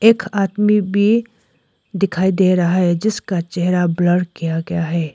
एक आदमी भी दिखाई दे रहा है जिसका चेहरा ब्लर किया गया है।